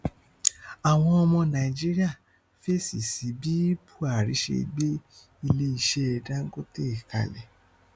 àwọn ọmọ nàìjíríà fèsì sí bí buhari ṣe gbé ilé iṣẹ dangote kalẹ